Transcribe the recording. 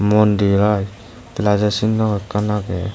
mondir aai pelajo sinno ekkan agey.